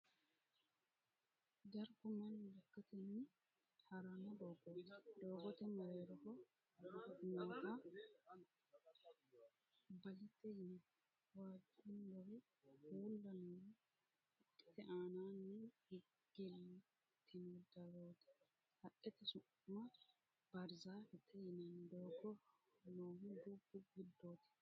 Dargu mannu lekkatenni ha'ranno doogoti. doogote mereeroho nootta balete yinanni. waajjuuluri uulla noori haqqete aanninni gigiltino darooti. haqqete su'ma bahirizzaafete yinanni. doogo noohu dubbu giddooti.